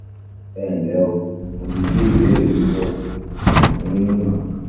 ẹnlẹ́ o mo ti gbé ìbéèrè yín yẹ̀ wò mo sì fún yín ní ìmọ̀ràn kan